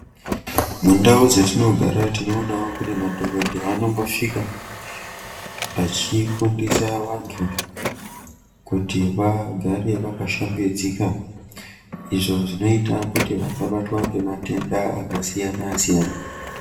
Mundau dzatinogara tinoona pamweni madhokoteya anosvika achifundisa vantu kuti vagare vakashambidzika .Izvo zvinoita kuti vasabatwe ngematenda akasiyana siyana .